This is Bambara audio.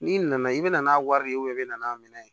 N'i nana i bɛna n'a wari ye i bɛ n'a minɛ